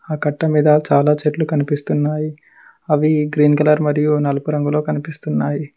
ఆ కట్టమీద చాలా చెట్లు కనిపిస్తున్నాయి అవి గ్రీన్ కలర్ మరియు నలుగు రంగులో కనిపిస్తున్నాయి.